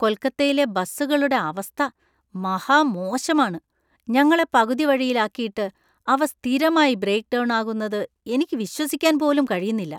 കൊൽക്കത്തയിലെ ബസുകളുടെ അവസ്ഥ മഹാമോശമാണ്! ഞങ്ങളെ പകുതിവഴിയിലാക്കിയിട്ട് അവ സ്ഥിരമായി ബ്രേക്ക് ഡൗൺ ആകുന്നത് എനിക്ക് വിശ്വസിക്കാൻ പോലും കഴിയുന്നില്ല.